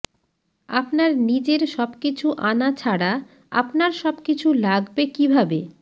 আপনার নিজের সবকিছু আনা ছাড়া আপনার সবকিছু লাগবে কিভাবে